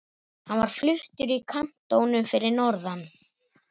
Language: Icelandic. Hann var fluttur í kantónu fyrir norðan.